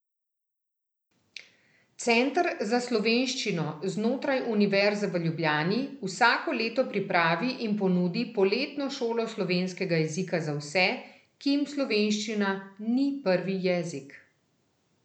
Center za slovenščino znotraj Univerze v Ljubljani vsako leto pripravi in ponudi poletno šolo slovenskega jezika za vse, ki jim slovenščina ni prvi jezik.